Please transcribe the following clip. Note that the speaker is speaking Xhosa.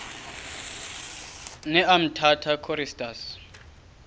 ne umtata choristers